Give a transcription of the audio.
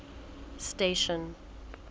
station